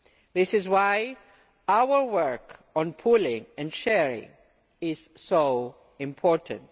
This is why our work on pooling and sharing is so important.